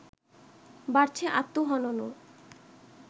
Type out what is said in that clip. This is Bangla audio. বাড়ছে আত্মহননও